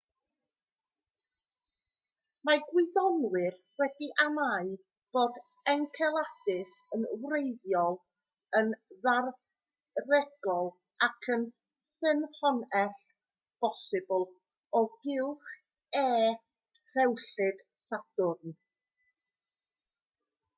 mae gwyddonwyr wedi amau bod enceladus yn weithredol yn ddaearegol ac yn ffynhonnell bosibl o gylch e rhewllyd sadwrn